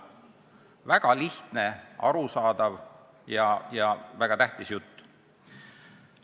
" Väga lihtne, arusaadav ja väga tähtis jutt.